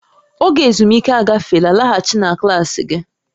Oge ezumike agafeela, laghachi na klaasị gị!